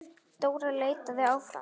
Dóra leitaði áfram.